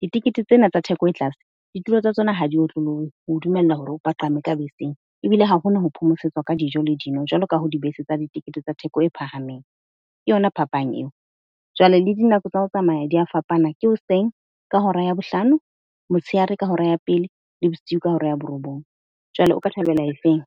Ditekete tsena tsa theko e tlase, ditulo tsa tsona ha di otlollohe ho dumella hore o paqame ka beseng ebile ha hona ho phomosetswa ka dijo jwalo ka ha dibese tsa ditikete tsa theko e phahameng. Ke yona phapang eo jwale le dinako tsa ho tsamaya di a fapana, ke hoseng ka hora ya bohlano, motsheare ka hora ya pele le bosiu ka hora ya borobong. Jwale o ka thabela efeng?